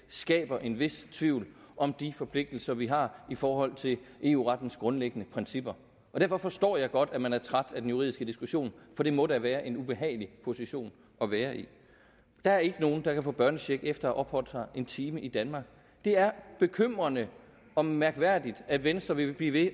skaber en vis tvivl om de forpligtelser vi har i forhold til eu rettens grundlæggende principper derfor forstår jeg godt at man er træt af den juridiske diskussion for det må da være en ubehagelig position at være i der er ikke nogen der kan få børnecheck efter at have opholdt sig en time i danmark det er bekymrende og mærkværdigt at venstre vil blive ved